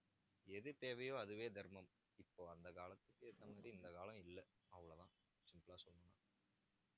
எது தேவையோ அதுவே தர்மம் இப்போ அந்த காலத்துக்கு ஏத்த மாதிரி இந்த காலம் இல்லை அவ்வளவுதான் simple ஆ சொல்லணும்